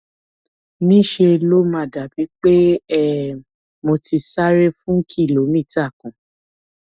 ní ṣe ló máa dàbíi pé um mo ti sáré fún kìlómítà kan